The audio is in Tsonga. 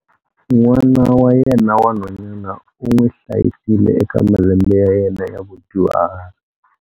N'wana wa yena wa nhwanyana u n'wi hlayisile eka malembe ya yena ya vudyuhari.